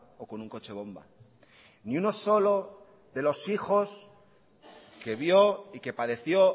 o con un coche bomba ni uno solo de los hijos que vio y que padeció